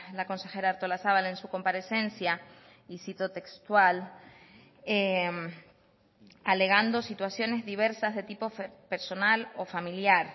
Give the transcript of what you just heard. la consejera artolazabal en su comparecencia y cito textual alegando situaciones diversas de tipo personal o familiar